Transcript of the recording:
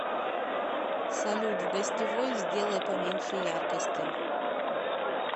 салют в гостевой сделай поменьше яркости